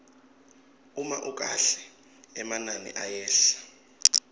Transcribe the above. uma ukahle emanani ayehla